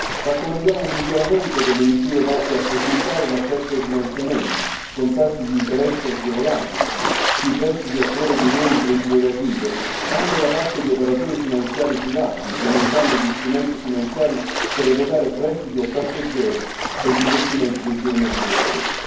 Raccomandiamo un miglioramento delle misure volte a facilitare l'accesso ai finanziamenti con tassi di interessi agevolati sui prestiti a favore dei nuovi imprenditori agricoli, anche da parte di operatori finanziari privati, implementando gli strumenti finanziari per erogare prestiti a tasso zero per gli investimenti dei giovani agricoltori.